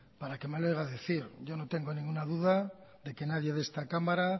para qué me lo oiga decir yo no tengo ninguna duda de que nadie de esta cámara